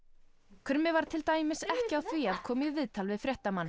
krummi var til dæmis ekki á því að koma í viðtal við fréttamann